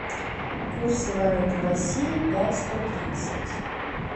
курсы валют в россии пять сто тридцать